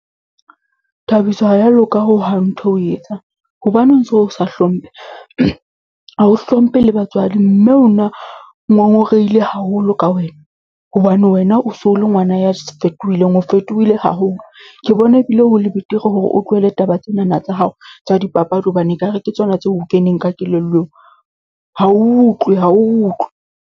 Thabiso ha ya loka hohang ntho etsang. Hobaneng so o sa hlomphe? Ha o hlomphe le batswadi mme o na ngongorehile haholo ka wena, hobane wena o so le ngwana ya fetohileng, o fetohile haholo. Ke bona ebile ho le betere hore o tlohele taba tsena na tsa hao tsa dipapadi hobane ekare ke tsona tseo o keneng ka kelellong. Ha o utlwe, ha o utlwe.